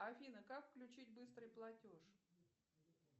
афина как включить быстрый платеж